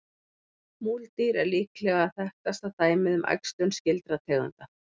Múldýr er líklega þekktasta dæmið um æxlun skyldra tegunda.